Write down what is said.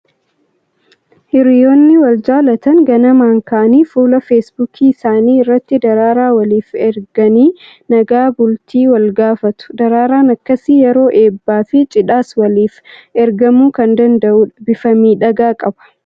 Hiriyyoonni wal jaalatan ganamaan ka'anii fuula " facebook" isaanii irratti daraaraa waliif erganii nagaa bultii wal gaafatu. Daraaraan akkasii yeroo eebbaa fi cidhaas waliif ergamuu kan danda'udha. Bifa miidhagaa qaba!